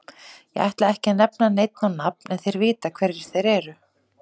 Ég ætla ekki að nefna neinn á nafn en þeir vita hverjir þeir eru.